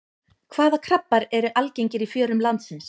Hvaða krabbar eru algengir í fjörum landsins?